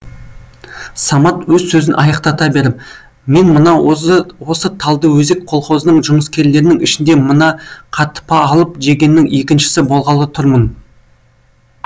самат өз сөзін аяқтата беріп мен мына осы талдыөзек колхозының жұмыскерлерінің ішінде мына қатпа алып жегеннің екіншісі болғалы тұрмын